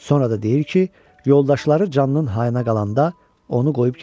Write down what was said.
Sonra da deyir ki, yoldaşları canının hayına qalanda onu qoyub gediblər.